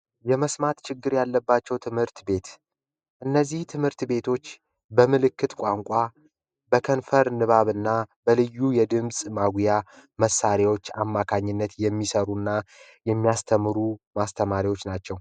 የመስማት ችግር ያለባቸው ትምህርት ቤት ትምህርት ቤቶች በምልክት ቋንቋ በከንፈር ንባብና በልዩ የድምጽ ማጉያ መሣሪያዎች አማካኝነት የሚሰሩና የሚያስተምሩ ማስተማሪዎች ናቸው